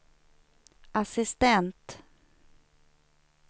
assistent